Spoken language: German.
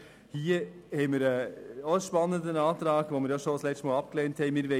Hier haben wir einen spannenden Antrag, den wir ja bereits letztes Mal abgelehnt haben.